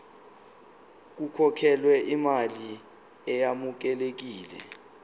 kukhokhelwe imali eyamukelekile